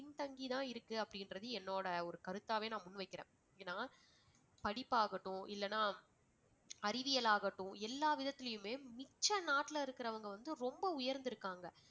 பின்தங்கி தான் இருக்கு அப்படின்றது என்னோட ஒரு கருத்தாவே நான் முன்வைக்கிறேன். ஏன்னா படிப்பாகட்டும் இல்லனா அறிவியல் ஆகட்டும் எல்லாவிதத்திலுமே மிச்ச நாட்ல இருக்கிறவங்க வந்து ரொம்ப உயர்ந்துருக்காங்க